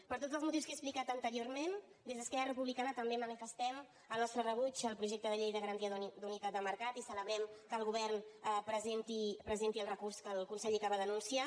per tots els motius que he explicat anteriorment des d’esquerra republicana també manifestem el nostre rebuig al projecte de llei de garantia d’unitat de mercat i celebrem que el govern presenti el recurs que el conseller acaba d’anunciar